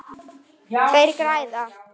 Þeir græða.